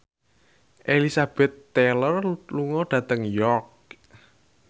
Elizabeth Taylor lunga dhateng York